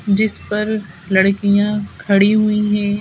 जिस पर लड़कियां खड़ी हुई हैं।